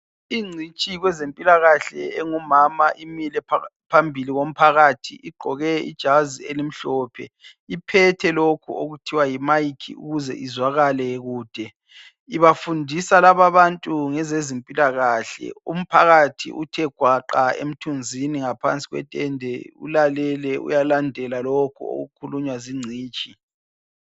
Ingcitshi kwezempilakahle engumama imile phambili kumphathi igqoke ijazi elimhlophe. Iphethe lokhu okuthiwa yi mic ukuze izwakale kude. Ibafundisa lababantu ngezezempilakahle . Umphathi uthe gwaqa emthunzini ngaphansi kwetende ulalele uyalandela lokho okukhuluywa zingcitshi.